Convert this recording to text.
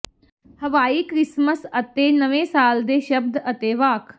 ਹਵਾਈ ਕ੍ਰਿਸਮਸ ਅਤੇ ਨਵੇਂ ਸਾਲ ਦੇ ਸ਼ਬਦ ਅਤੇ ਵਾਕ